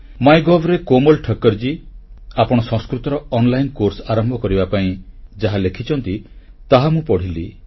MyGov ରେ କୋମଲ ଠକ୍କରଜୀ ଆପଣ ସଂସ୍କୃତର ଅନଲାଇନ ପାଠ୍ୟକ୍ରମ ଆରମ୍ଭ କରିବା ପାଇଁ ଯାହା ଲେଖିଛନ୍ତି ତାହା ମୁଁ ପଢ଼ିଲି